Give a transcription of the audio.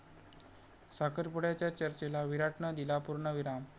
साखरपुड्याच्या चर्चेला विराटनं दिला पूर्णविराम